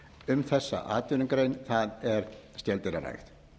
um þessa atvinnugrein það er skeldýrarækt